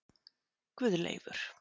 Guðleifur